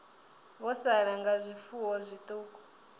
vho sala nga zwifuwo zwiṱuku